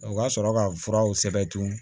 O ka sɔrɔ ka furaw sɛbɛntu